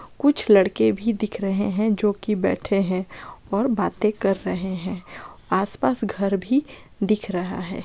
कुछ लड़के भी दिख रहें हैं जो की बैठे हैं और बाते कर रहे हैं आस-पास घर भी दिख रहा है।